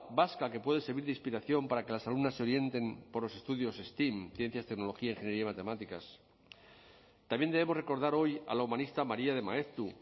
vasca que puede servir de inspiración para que las alumnas se orienten por los estudios stem ciencias tecnología ingeniería y matemáticas también debemos recordar hoy a la humanista maría de maeztu